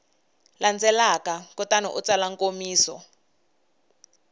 landzelaka kutani u tsala nkomiso